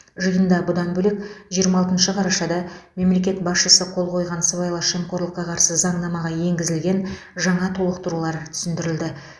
жиында бұдан бөлек жиырма алтыншы қарашада мемлекет басшысы қол қойған сыбайлас жемқорлыққа қарсы заңнамаға енгізілген жаңа толықтырулар түсіндірілді